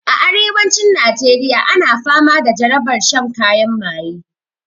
A arewacin najeriya ana fama da jarabar shan kayan maye